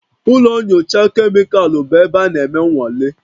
Ụlọ nyocha kemịkalụ bụ ebe a na-eme nnwale